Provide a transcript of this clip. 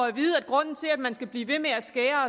at vide at grunden til at man skal blive ved med at skære